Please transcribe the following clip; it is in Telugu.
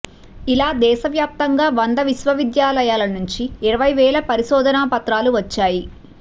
ఇలా దేశవ్యాప్తంగా వంద విశ్వవిద్యాలయాల నుంచి ఇరవై వేల పరిశోధన పత్రాలు వచ్చాయి